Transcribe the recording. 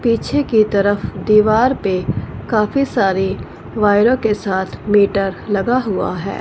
पीछे की तरफ दीवार पे काफी सारे वाइरों के साथ मीटर लगा हुआ है।